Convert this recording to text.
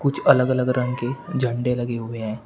जो अलग अलग रंग के झंडे लगे हुए हैं।